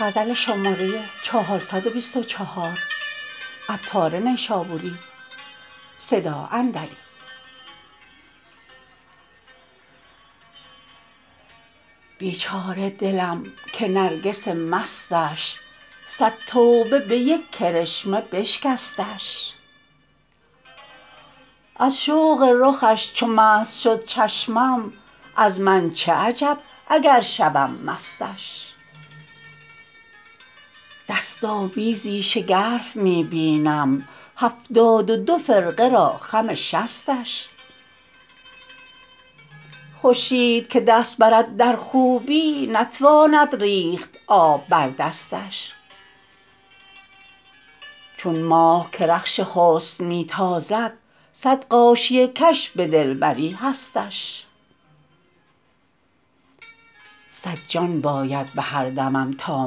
بیچاره دلم که نرگس مستش صد توبه به یک کرشمه بشکستش از شوق رخش چو مست شد چشمش از من چه عجب اگر شوم مستش دست آویزی شگرف می بینم هفتاد و دو فرقه را خم شستش خورشید که دست برد در خوبی نتواند ریخت آب بر دستش چون ماه که رخش حسن می تازد صد غاشیه کش به دلبری هستش صد جان باید به هر دمم تا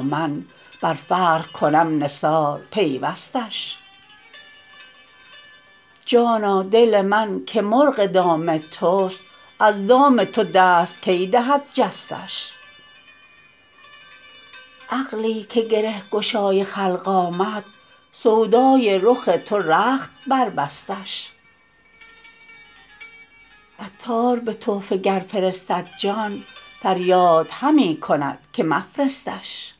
من بر فرق کنم نثار پیوستش جانا دل من که مرغ دام توست از دام تو دست کی دهد جستش عقلی که گره گشای خلق آمد سودای رخ تو رخت بربستش عطار به تحفه گر فرستد جان فریاد همی کند که مفرستش